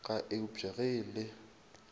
ka eupša ge e le